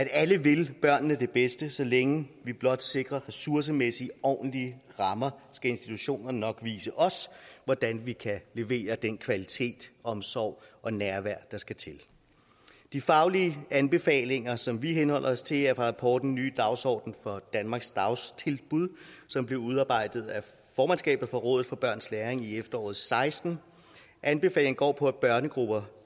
alle vil børnene det bedste så længe vi blot sikrer ressourcemæssigt ordentlige rammer skal institutionerne nok vise os hvordan de kan levere den kvalitet og omsorg og det nærvær der skal til de faglige anbefalinger som vi henholder os til er fra rapporten ny dagsorden for danmarks dagtilbud som blev udarbejdet af formandskabet for rådet for børns læring i efteråret seksten anbefalingerne går på at børnegrupper